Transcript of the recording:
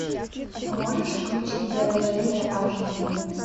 можешь включить заражение аш ди